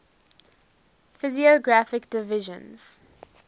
physiographic divisions